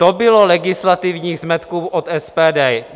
To bylo legislativních zmetků od SPD.